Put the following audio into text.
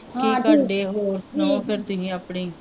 ਕੀ ਕਰਦੇ ਹੋ ਸੁਣਾਉ ਫੇਰ ਤੁਸੀਂ ਆਪਣੀ